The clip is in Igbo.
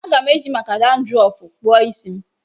Aga m eji maka dandrọfu kpụọ isi m